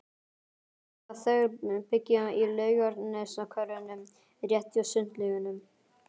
Hann sagði að þau byggju í Laugarneshverfinu, rétt hjá Sundlaugunum.